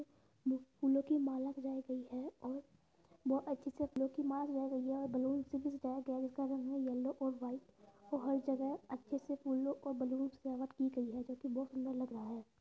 फूलो की माला दिखाई गयी है और बोहोत अच्छे से फूलो की माला सजाई गयी है और बैलून से भी सजाया गया है जिसका रंग है यल्लो और वाईट । बोहोत जगह अच्छे से फूलो को बैलून्स से सजावट की गयी है जो कि बोहोत सुन्दर लग रहा है।